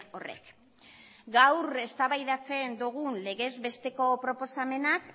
horrek gaur eztabaidatzen dugun legez besteko proposamenak